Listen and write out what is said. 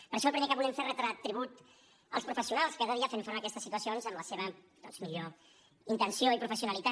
per això el primer que volem fer és retre tribut als professionals que cada dia fan front a aquestes situacions amb la seva doncs millor intenció i professionalitat